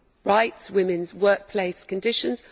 rights or women's workplace conditions.